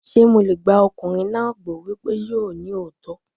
Ṣé mo lè gba ọkùnrin náà gbọ́ wípé yóò ní òótọ́?